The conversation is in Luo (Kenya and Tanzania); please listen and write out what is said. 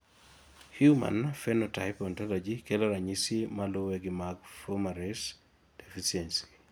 Human Phenotype Ontology kelo ranyisi maluwe gi mag Fumarace deficiency